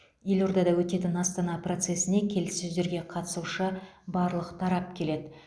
елордада өтетін астана процесіне келіссөздерге қатысушы барлық тарап келеді